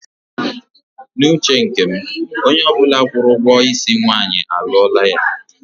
N'uche nke m, onye ọbụla kwụrụ ụgwọ isi nwaanyị, a lụọla ya.